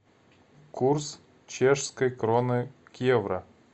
курс чешской кроны к евро